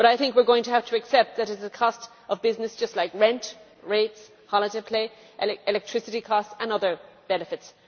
But I think we are going to have to accept that it is a cost to business just like rent, rates, holiday pay, electricity costs and other benefits.